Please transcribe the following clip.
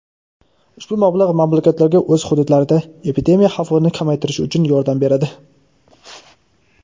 ushbu mablag‘ mamlakatlarga o‘z hududlarida epidemiya xavfini kamaytirish uchun yordam beradi.